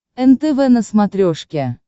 нтв на смотрешке